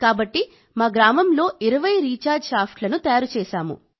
కాబట్టి మేం మా గ్రామంలో 20 రీఛార్జ్ షాఫ్ట్లను తయారు చేశాం